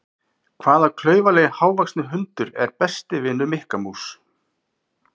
Hvaða klaufalegi hávaxni hundur er besti vinur Mikka mús?